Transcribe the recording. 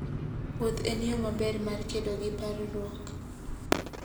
Wuoth en yo maber mar kedo gi parruok.